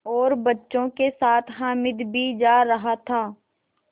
और बच्चों के साथ हामिद भी जा रहा था